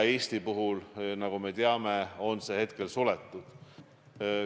Eesti puhul, nagu me teame, on see hetkel suletud.